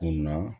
O na